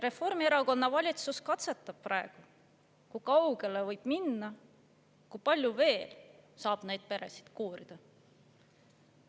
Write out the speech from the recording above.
Reformierakonna valitsus katsetab praegu, kui kaugele võib minna, kui palju saab veel neid peresid koorida.